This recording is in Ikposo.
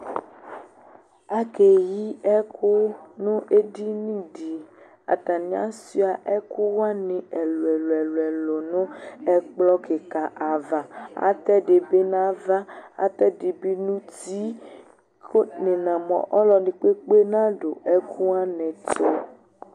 Akeyi ɛkʋ nʋ edini di Atani asuia ɛkʋ wani ɛlʋɛlʋɛlʋɛlʋ nʋ ɛkplɔ kika ava Atɛ di bi nʋ ava, atɛ di bi nʋ uti kʋ nina mʋ ɔlʋ ɛdi kpekpe nadu ɛkʋ wani ɛtʋ